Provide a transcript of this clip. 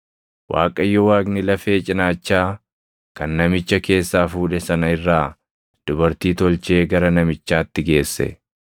Waaqayyo Waaqni lafee cinaachaa kan namicha keessaa fuudhe sana irraa dubartii tolchee gara namichaatti geesse.